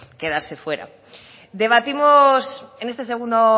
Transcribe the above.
quedarse fuera debatimos en este segundo